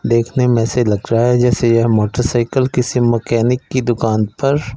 देखने में ऐसे लग रहा है जैसे ये मोटरसाइकिल किसी मैकेनिक की दुकान पर--